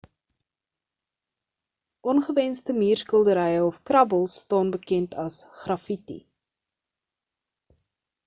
ongewensde muurskilderye of krabbels staan bekend as graffitti